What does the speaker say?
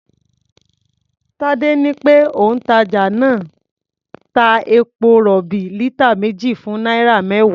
Tadé ní pé òǹtàjà náà ń ta epo-rọ̀bì lítà méjì fún náírà mẹ́wàá.